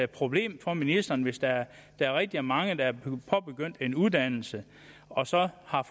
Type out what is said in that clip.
problem for ministeren hvis der er rigtig mange der er påbegyndt en uddannelse og så har